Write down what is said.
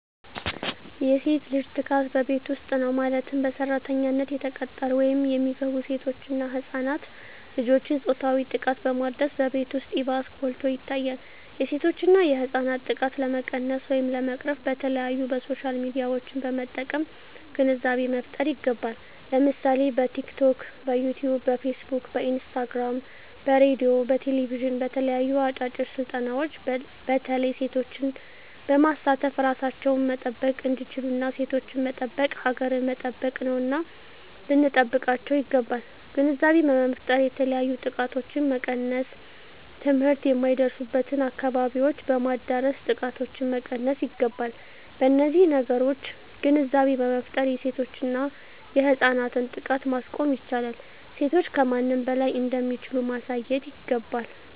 የሴት ልጅ ጥቃት በቤት ዉስጥ ነዉ ማለትም በሰራተኛነት የተቀጠሩ ወይም የሚገቡሴቶች እና ህፃናት ልጆችን ፆታዊ ጥቃትን በማድረስ በቤት ዉስጥ ይባስ ጎልቶ ይታያል የሴቶችና የህፃናት ጥቃት ለመቀነስ ወይም ለመቅረፍ በተለያዩ በሶሻል ሚድያዎችን በመጠቀም ግንዛቤ መፍጠር ይገባል ለምሳሌ በቲክቶክ በዮትዮብ በፊስ ቡክ በኢንስታግራም በሬድዮ በቴሌብዥን በተለያዩ አጫጭር ስልጠናዎች በተለይ ሴቶችን በማሳተፍ እራሳቸዉን መጠበቅ እንዲችሉና ሴቶችን መጠበቅ ሀገርን መጠበቅ ነዉና ልንጠብቃቸዉ ይገባል ግንዛቤ በመፍጠር የተለያዮ ጥቃቶችን መቀነስ ትምህርት የማይደርሱበትን አካባቢዎች በማዳረስ ጥቃቶችን መቀነስ ይገባል በነዚህ ነገሮች ግንዛቤ በመፍጠር የሴቶችና የህፃናትን ጥቃት ማስቆም ይቻላል ሴቶች ከማንም በላይ እንደሚችሉ ማሳየት ይገባል